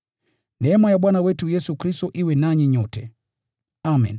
Neema ya Bwana wetu Yesu Kristo iwe nanyi nyote. Amen.